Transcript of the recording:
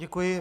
Děkuji.